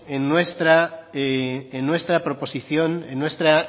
en nuestra proposición en nuestra